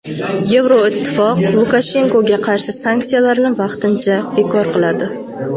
Yevroittifoq Lukashenkoga qarshi sanksiyalarni vaqtincha bekor qiladi.